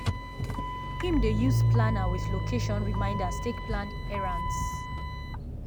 him dey use planner with location reminders take plan errends.